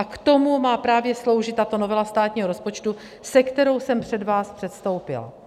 A k tomu má právě sloužit tato novela státního rozpočtu, se kterou jsem před vás předstoupila.